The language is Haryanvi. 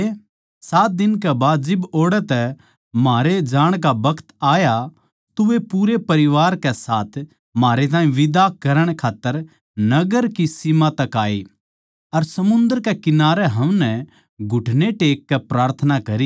सात दिन के बाद जिब ओड़ै तै म्हारे जाण का बखत आया तो वे पूरे परिवार कै साथ म्हारै ताहीं विदा करण खात्तर नगर की सीम तक आये अर समन्दर कै किनारै हमनै घुटने टेककै प्रार्थना करी